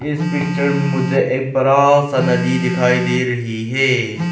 इस पिक्चर में मुझे एक बड़ा सा नदी दिखाई दे रही है।